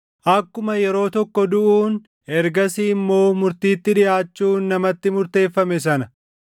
Akkuma yeroo tokko duʼuun ergasii immoo murtiitti dhiʼaachuun namatti murteeffame sana